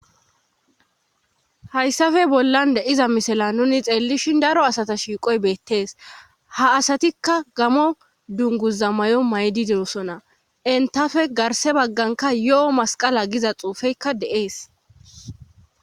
hayssafe bollan de iza misala nuni xeellishin daro asata shiiqoy beettees ha asatikka gamo dunguza may7o maydideosona entafe garse bagganka yo7o masqala giza xuufeykka de7ees